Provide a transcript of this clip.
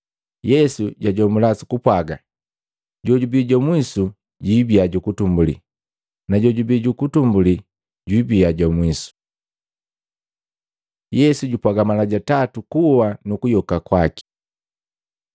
Yesu jwajomula sukupwaga, “Jojubi jwa mwisu jwiibia jukutumbuli na jojubi juutumbuli jwiibia jwa mwisu.” Yesu jupwaga mala ja tatu kuwa kwaki nukuyoka kwaki Maluko 10:32-34; Luka 18:31-34